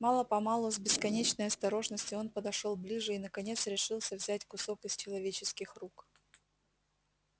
мало помалу с бесконечной осторожностью он подошёл ближе и наконец решился взять кусок из человеческих рук